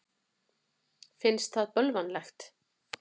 Finnst það bölvanlegt.